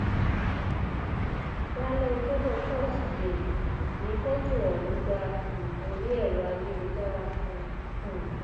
lálẹ ọjọbọ tosidee ní fọtò ọhún gba um orí ẹrọ ayélujára kan um